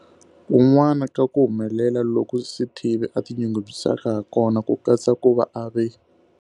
Kun'wana ka ku humelela loku Sithibe a tinyungubyisaka ha kona ku katsa ku va a ve.